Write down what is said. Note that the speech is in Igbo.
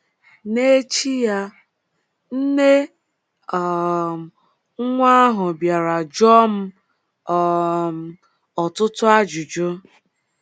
N’echi ya, nne um nwa ahụ bịara jụọ m um ọtụtụ ajụjụ.